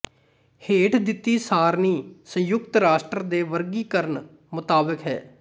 ਹੇਠ ਦਿੱਤੀ ਸਾਰਨੀ ਸੰਯੁਕਤ ਰਾਸ਼ਟਰ ਦੇ ਵਰਗੀਕਰਨ ਮੁਤਾਬਕ ਹੈ